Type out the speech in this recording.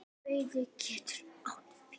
Beyging getur átt við